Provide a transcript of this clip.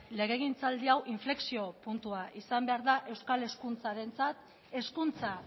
legegintzaldi hau inflexio puntua izan behar da euskal hezkuntzarentzat hezkuntza